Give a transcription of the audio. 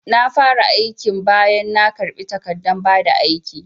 Na fara aikin bayan na karbi takardan bada aiki